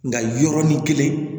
Nga yɔrɔnin kelen